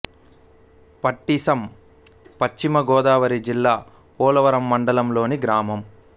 పట్టిసం పశ్చిమ గోదావరి జిల్లా పోలవరం మండలం లోని గ్రామం